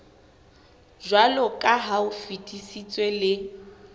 jwaloka ha o fetisitswe le